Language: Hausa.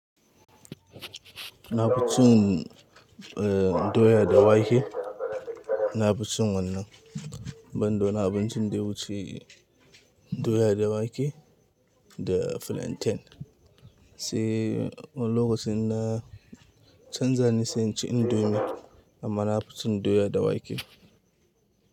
Na fi cin, eh, doya da wake. Na fi cin wannan. Ban da wani abincin da ya wuce, doya da wake da flantain. Sai wani lokacin na canza ne sai inci indomie amma na fi cin doya da wake.